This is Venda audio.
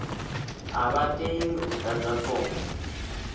a vha tei u ḓadza fomo